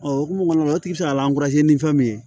O hokumu kɔnɔna na o tigi be se ka ni fɛn min ye